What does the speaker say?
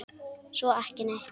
Svo ekki neitt.